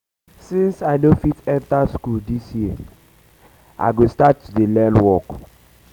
since i no fit enter um school um dis year i go start to dey learn um work